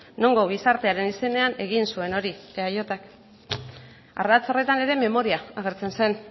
nongo gizartearen izenean egin zuen hori eajk ardatz horretan ere memoria agertzen zen